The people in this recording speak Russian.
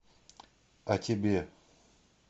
а тебе